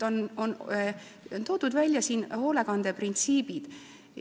Siin on toodud välja hoolekande printsiibid.